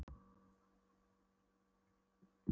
Hálfur pakki af búðingsdufti nægir í tvær lengjur.